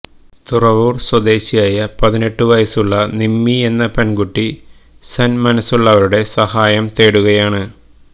തുരവൂര് സ്വദേശിയായ പതിനെട്ടു വയസുള്ള നിമ്മി എന്ന പെണ്കുട്ടി സന്മനസ്സുള്ളവരുടെ സഹായം തേടുകയാണ്